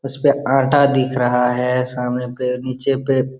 उस पे आटा दिख रहा है सामने पे नीचे पे --